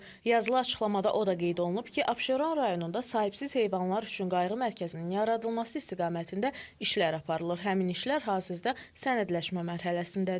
Yazılı açıqlamada o da qeyd olunub ki, Abşeron rayonunda sahibsiz heyvanlar üçün qayğı mərkəzinin yaradılması istiqamətində işlər aparılır, həmin işlər hazırda sənədləşmə mərhələsindədir.